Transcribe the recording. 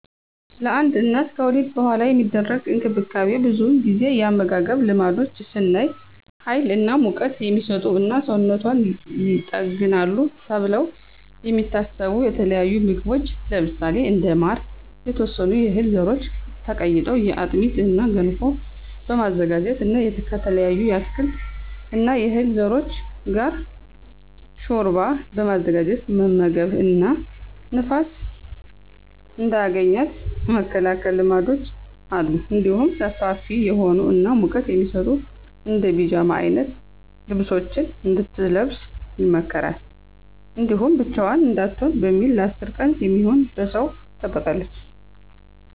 ለአንድ እናት ከወሊድ በኃላ የሚደረግ እንክብካቤ ብዙውን ጊዜ የአመጋገብ ልማዶች ስናይ ሀይል እና ሙቀት" የሚሰጡ እና ሰውነቷን ይጠግናሉ ተብለው የሚታሰቡ የተለያዩ ምግቦች ለምሳሌ እንደ ማር፣ የተወሰኑ የህል ዘሮች ተቀይጦ በአጥሚት እና ገንፎ በማዘጋጀት እና ከተለያዩ የአትክልት እና የዕህል ዘሮች ጋር ሾርባ በማዘጋጀት መመገብ እና ንፋስ እንዳያገኛት የመከላከል ልማዶች አሉ። እንዲሁም ሰፋፊ የሆኑ እና ሙቀት የሚሰጡ እንደ ፒጃማ አይነት ልብሶችን እንድትለብስ ይመከራል። እንዲሁም ብቻዋን እንዳትሆን በሚል ለ10 ቀን የሚሆን በሰው ትጠበቃለች።